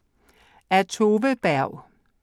Af Tove Berg